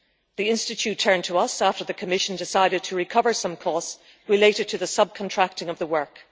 The Institute turned to us after the Commission decided to recover some costs related to the subcontracting of the work.